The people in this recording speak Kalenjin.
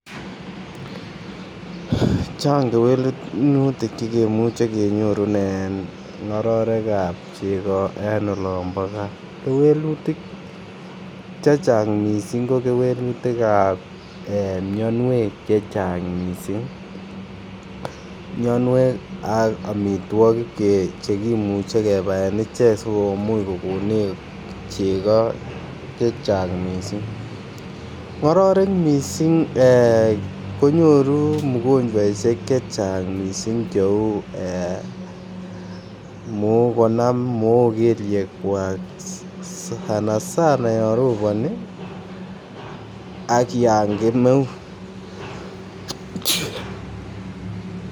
Chang kewelunutik che kimuche kenyorun en ngororekab chego en olombo gaa, kewelutik chechang missing ko kewelunutikab ee mionwek chechang missing. Mionwek ak omitwokik che kimuche kebaen ichek sikomuch kogonech chego chechang missing. Ngororek missing ee konyoru mgojwaishek chechang missing che uu ee Mook konam Mook kelyekwak sana sana yon robonii ak yan kemeut